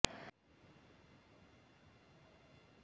জনগোষ্ঠীয় সংঘাতৰ ফলত আভ্যন্তৰীণভাৱে বিতাড়িত লোকক সামগ্ৰিক সংস্থাপনৰ আশ্বাস